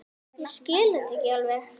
Ég skil þetta ekki alveg.